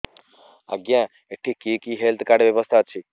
ଆଜ୍ଞା ଏଠି କି କି ହେଲ୍ଥ କାର୍ଡ ବ୍ୟବସ୍ଥା ଅଛି